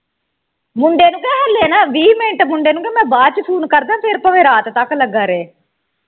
ਮੁੰਡੇ ਨੂੰ ਕਹਿ ਹੱਲੇ ਨਾ ਵੀਹ ਮਿੰਟ ਮੁੰਡੇ ਨੂੰ ਕਹਿ ਮੈਂ ਬਾਅਦ ਵਿਚ ਫੋਨ ਕਰਦਾ ਹਾਂ ਫੇਰ ਭਾਵੇਂ ਰਾਤ ਤਕ ਲਗਾ ਰਹੇ।